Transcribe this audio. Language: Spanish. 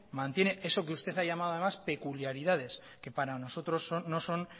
mantiene eso que usted ha llamado además peculiaridades que para nosotros no son